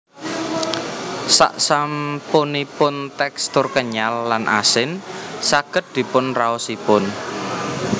Saksampunipun tekstur kenyal lan asin saged dipun raosipun